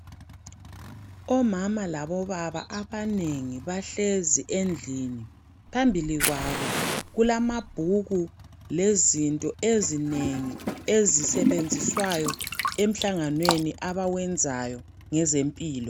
Omama labobaba abanengi bahlezi endlini. Phambili kwabo kulamabhuku lezinto ezinengi ezisebenziswayo emhlanganweni abawenzayo ngezempilo.